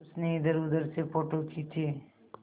उसने इधरउधर से फ़ोटो खींचे